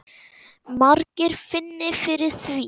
Margir finni fyrir því.